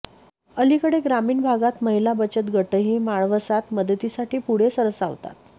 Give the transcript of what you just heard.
अलीकडे ग्रामीण भागात महिला बचतगटही म्हाळवसात मदतीसाठी पुढे सरसावतात